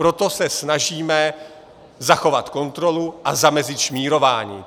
Proto se snažíme zachovat kontrolu a zamezit šmírování.